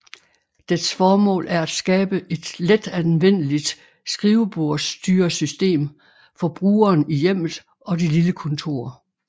Dets formål er at skabe et letanvendeligt skrivebordsstyresystem for brugeren i hjemmet og det lille kontor